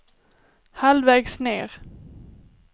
halvvägs ned